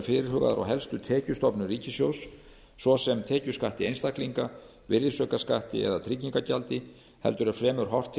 eru fyrirhugaðar á helstu tekjustofnum ríkissjóðs svo sem tekjuskatti einstaklinga virðisaukaskatti eða tryggingagjaldi heldur er fremur horft til